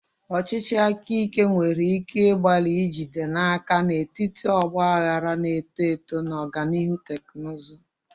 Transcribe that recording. Ọchịchị aka ike nwere ike ịgbalị ijide n'aka n'etiti ọgba aghara na-eto eto na ọganihu teknụzụ.